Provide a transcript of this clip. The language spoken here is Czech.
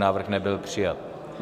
Návrh nebyl přijat.